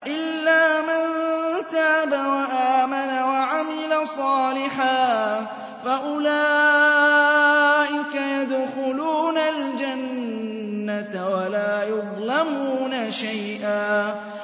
إِلَّا مَن تَابَ وَآمَنَ وَعَمِلَ صَالِحًا فَأُولَٰئِكَ يَدْخُلُونَ الْجَنَّةَ وَلَا يُظْلَمُونَ شَيْئًا